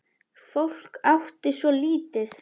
Fólk átti svo lítið.